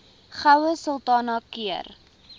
goue sultana keur